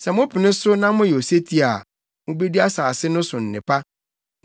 Sɛ mopene so na moyɛ osetie a, mubedi asase no so nnepa.